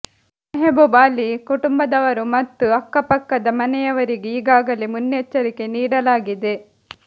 ಮೆಹಬೂಬ್ ಅಲಿ ಕುಟುಂಬದವರು ಮತ್ತು ಅಕ್ಕಪಕ್ಕದ ಮನೆಯವರಿಗೆ ಈಗಾಗಲೇ ಮುನ್ನೆಚ್ಚರಿಕೆ ನೀಡಲಾಗಿದೆ